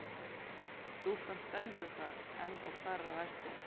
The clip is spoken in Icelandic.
Stúlkan stendur þar enn og starir á hestinn.